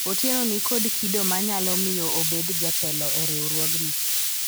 Otieno nikod kido manyalo miyo obedo jatelo e riwruogni